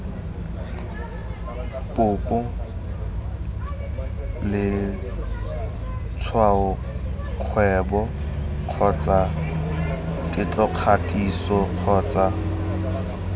popo letshwaokgwebo kgotsa tetlokgatiso kgotsa